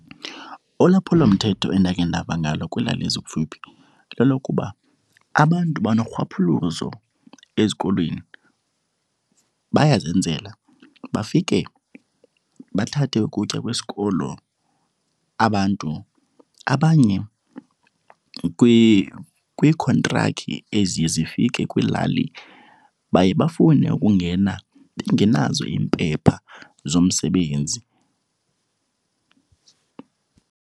Ulwaphulomthetho endakhe ndava ngalo kwiilali ezikufuphi lelokuba abantu banorhwaphilizo ezikolweni, bayazenzela. Bafike bathathe ukutya kwesikolo abantu, abanye kwiikhontrakhi eziye zifike kwiilali baye bafune ukungena bengenazo iimpepha zomsebenzi.